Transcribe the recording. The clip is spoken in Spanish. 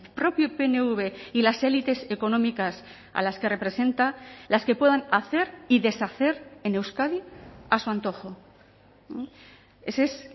propio pnv y las élites económicas a las que representa las que puedan hacer y deshacer en euskadi a su antojo ese es